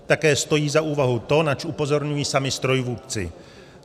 Také stojí za úvahu to, na co upozorňuji sami strojvůdci.